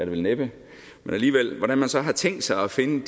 vel næppe man så har tænkt sig at finde